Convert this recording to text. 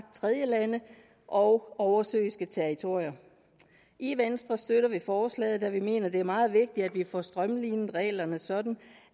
tredjelande og oversøiske territorier i venstre støtter vi forslaget da vi mener det er meget vigtigt at vi får strømlinet reglerne sådan